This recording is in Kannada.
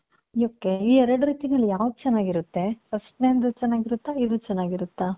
ಈ ಎರಡ್ ರೀತಿನಲ್ಲಿ ಯಾವುದು ಚೆನ್ನಾಗಿರುತ್ತೆ. first ನೆದು ಚೆನ್ನಾಗಿರುತ್ತ ಇದು ಚೆನ್ನಾಗಿರುತ್ತಾ?